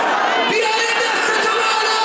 İsrail!